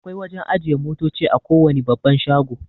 Akwai wajan ajiye motoci a kowane babban shago